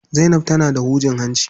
Zainab tana da hujin hanci.